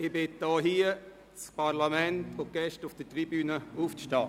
Ich bitte wiederum das Parlament und die Gäste auf der Tribüne, aufzustehen.